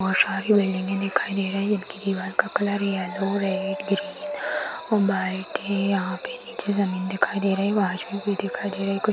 बहुत सारी बिल्डिंगें दिखाई दे रही है दीवार का कलर येलो रेड ग्रीन और बाइक है यहा पे नीचे जमीन दिखाई दे रही है भी दिखाई दे रहे है।